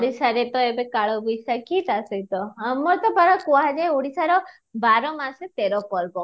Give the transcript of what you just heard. ଓଡ଼ିଶାରେ ତ ଏବେ କାଳ ବୈଶାଖୀ ତା ସହିତ ଆମର ତ ପରା କୁହ ଯାଏ ଓଡିଶାର ବାର ମାସେ ତେର ପର୍ବ